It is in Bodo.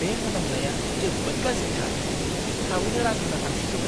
बे मोनामनाया जोबोद गाज्रिथार! थाबैनो रां होना थांसै थौ।